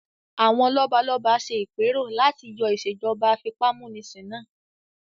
Àwọn lọ́balọ́ba ṣe ìpẹ́rò láti yọ ìsèjọba àfipámúnisin náà